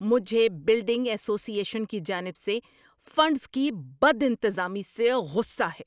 مجھے building association کی جانب سے فنڈز کی بدانتظامی سے غصہ ہے۔